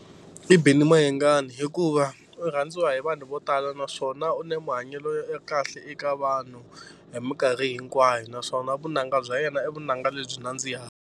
I Benny Mayengani hikuva u rhandziwa hi vanhu vo tala naswona u na mahanyelo ya kahle eka vanhu hi mikarhi hinkwayo naswona vunanga bya yena i vunanga lebyi nandziha.